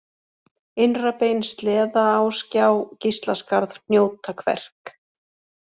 Innrabein, Sleðaásgjá, Gíslaskarð, Hnjótakverk